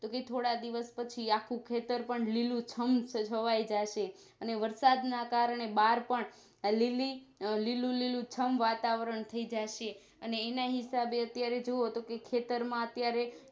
થોડા દિવસ પછી આખું ખેતર પણ લીલુંછમ છવાઈ જશે અને વરસાદ ના કારણે બાર પણ આલીલી આ લીલું લીલું છમ વાતાવરણથઈ જશે અને એના હિસાબે અત્યારે જોવો તો ખેતરમાં અત્યારે